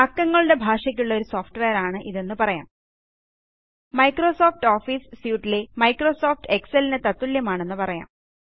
അക്കങ്ങളുടെ ഭാഷയ്ക്കുള്ള ഒരു സോഫ്റ്റ്വെയറാണ് ഇതെന്ന് പറയാം മൈക്രോസോഫ്റ്റ് ഓഫീസ് സ്യൂട്ട് ലെ മൈക്രോസോഫ്റ്റ് എക്സൽ ലിന് തത്തുല്യമാണെന്ന് പറയാം